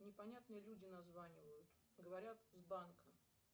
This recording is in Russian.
непонятные люди названивают говорят с банка